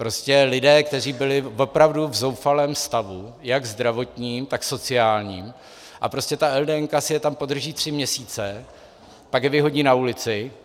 Prostě lidé, kteří byli opravdu v zoufalém stavu jak zdravotním, tak sociálním, a prostě ta LDN si je tam podrží tři měsíce, pak je vyhodí na ulici.